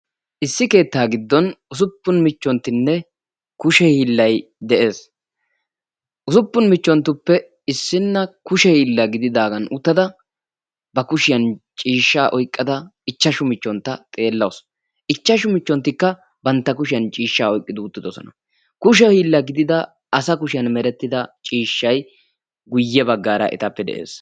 Issi keettaa giddon usuppun michchonttinne kushe hiillayi de'es. Usuppun michchonttuppe issinna kushe hiilla gididaagan uttada ba kushiyan ciishshaa oyqqada ichchashu michchontta xeellawus. Ichchashu michchonttikka bantta kushiyan ciishshaa oyqqi uttidosona. Kushe hiilla gidida asa kushiyan merettida ciishshayi guyye baggaara etappe de'es.